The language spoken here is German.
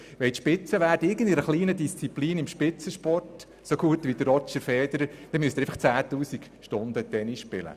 Wenn Sie in irgendeinem Bereich zur Spitze gehören wollen, beispielsweise im Tennis, dann müssen Sie 10 000 Stunden lang Tennis spielen.